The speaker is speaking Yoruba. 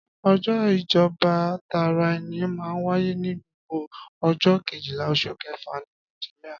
Ọjọ́ ìjọba tara ẹni máa ń wáyé ní gbogbo ọjọ́ kejìlá oṣù kẹfà ní Nàìjíríà.